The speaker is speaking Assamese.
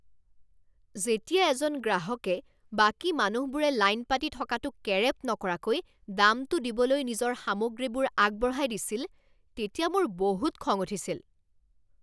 যেতিয়া এজন গ্ৰাহকে বাকী মানুহবোৰে লাইন পাতি থকাটো কেৰেপ নকৰাকৈ দামটো দিবলৈ নিজৰ সামগ্ৰীবোৰ আগবঢ়াই দিছিল তেতিয়া মোৰ বহুত খং উঠিছিল।